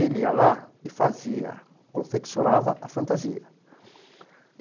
Ele ia lá e fazia, confeccionava a fantasia.